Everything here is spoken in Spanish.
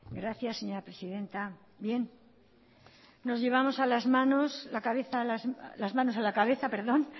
gracias señora presidenta nos llevamos las manos a la cabeza